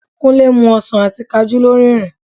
Kúnlé ń mu ọsàn àti Kajú lórí ìrìn